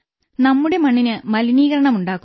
നമ്മുടെ മണ്ണിന് മലിനീകരണമുണ്ടാക്കുന്നു